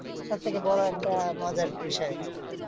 সবথেকে বড়ো একটা মজার বিষয়।